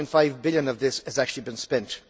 1.5 billion of this has actually been spent.